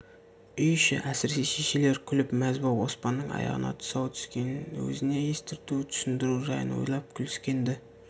үй іші әсіресе шешелер күліп мәз боп оспанның аяғына тұсау түскенін өзіне естірту түсіндіру жайын ойлап күліскен-ді